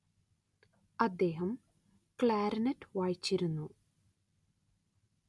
അദ്ദേഹം ക്ലാര്‍നെറ്റ് വായിച്ചിരുന്നു